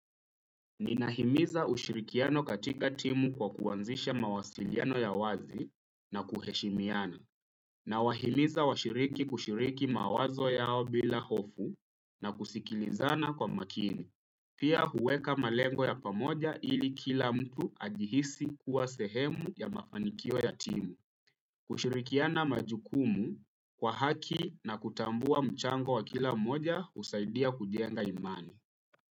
Ninahimiza ushirikiano katika timu kwa kuanzisha mawasiliano ya wazi na kuheshimiana. Nawahimiza washiriki kushiriki mawazo yao bila hofu na kusikilizana kwa makini. Pia, huweka malengo ya pamoja ili kila mtu ajihisi kuwa sehemu ya mafanikio ya timu. Kushirikiana majukumu kwa haki na kutambua mchango wa kila mmoja husaidia kujenga imani.